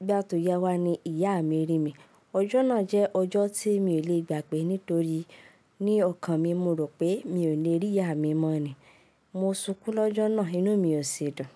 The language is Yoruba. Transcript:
Nígbà tó yá wá ni ìyá mi rí mi. Ọjọ́ náà jẹ́ ọjọ́ tí mi ò lè gbà pé nítorí ní ọkàn mi, mo rò pé mi ò lè rí ìyá mi mọ́ ni. Mo sunkún lọ́jọ́ náà, inú mi ò ṣi dùn.